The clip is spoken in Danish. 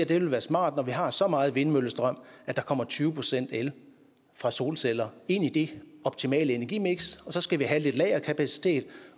det vil være smart når vi har så meget vindmøllestrøm at der kommer tyve procent el fra solceller ind i det optimale energimiks og så skal vi have lidt lagerkapacitet